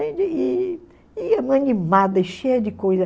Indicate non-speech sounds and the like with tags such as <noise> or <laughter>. <unintelligible> cheia de coisa.